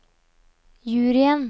juryen